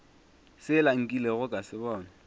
sela nkilego ka se bona